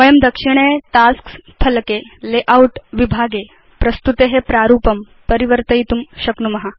वयं दक्षिणे टास्क्स् फलके लेआउट विभागे प्रस्तुते प्रारूपं परिवर्तयितुं शक्नुम